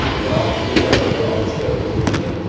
Biroq u daraja olishga ulgurmagan.